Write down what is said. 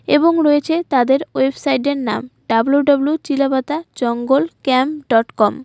এবং রয়েছে তাদের ওয়েবসাইডের নাম W W Chilapata jungle camp dot com.